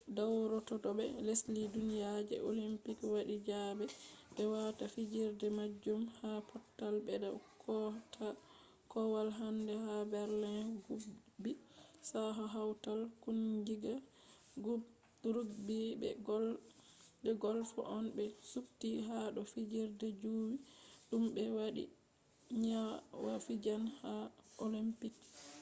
dawrotoobe lesdi duniya je olympics wadi zabe be wata fijirde majum ha pottal beda kootaakowal hande ha berlin. rugby sakko hautal kungiya rugby be golf on be subti ha do fijirde juwi dum be wadi niyya fijan ha olympics